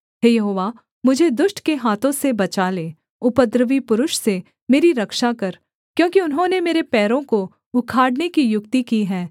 हे यहोवा मुझे दुष्ट के हाथों से बचा ले उपद्रवी पुरुष से मेरी रक्षा कर क्योंकि उन्होंने मेरे पैरों को उखाड़ने की युक्ति की है